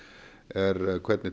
er hvernig